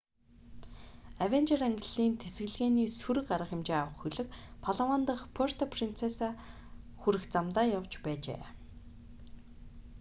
авенжер ангиллын тэсэлгээний сөрөг арга хэмжээ авах хөлөг палаван дахь пуэрто принцеса хүрэх замдаа явж байжээ